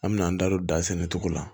An me n'an da don da sɛnɛ cogo la